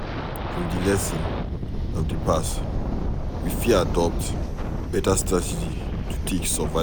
From di lessons of di past, we fit adopt better starategy to take survive